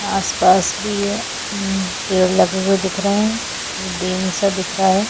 आस पास भी ये पेड़ लगे हुए दिख रहे है डैम सा दिख रहा है।